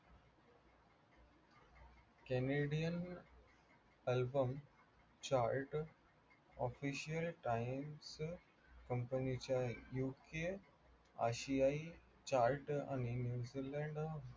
canadian album chart official time चं company च्या UK आशियाई chart आणि New zeeland